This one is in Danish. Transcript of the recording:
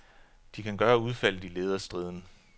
De kan gøre udfaldet i lederstriden.